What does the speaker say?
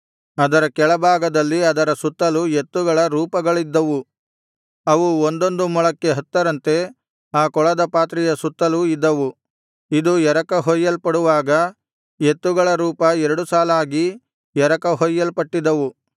ಅದರ ಕೆಳಭಾಗದಲ್ಲಿ ಅದರ ಸುತ್ತಲೂ ಎತ್ತುಗಳ ರೂಪಗಳಿದ್ದವು ಅವು ಒಂದೊಂದು ಮೊಳಕ್ಕೆ ಹತ್ತರಂತೆ ಆ ಕೊಳದ ಪಾತ್ರೆಯ ಸುತ್ತಲೂ ಇದ್ದವು ಇದು ಎರಕ ಹೊಯ್ಯಲ್ಪಡುವಾಗ ಎತ್ತುಗಳ ರೂಪ ಎರಡು ಸಾಲಾಗಿ ಎರಕ ಹೊಯ್ಯಲ್ಪಟ್ಟಿದ್ದವು